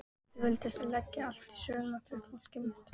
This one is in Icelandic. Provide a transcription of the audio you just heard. Ég vildi leggja allt í sölurnar fyrir fólkið mitt.